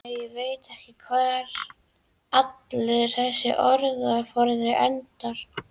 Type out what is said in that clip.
Nei, ég veit ekki hvar allur þessi orðaforði endar.